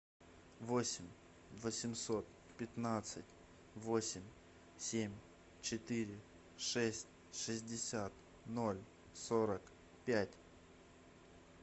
восемь восемьсот пятнадцать восемь семь четыре шесть шестьдесят ноль сорок пять